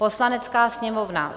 Poslanecká sněmovna